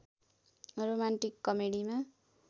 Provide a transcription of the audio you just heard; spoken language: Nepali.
रोमान्टिक कमेडीमा